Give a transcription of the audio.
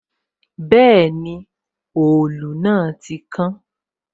Bẹẹni, òòlù náà ti kán